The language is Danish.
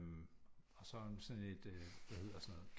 Og så sådan et hvad hedder sådan noget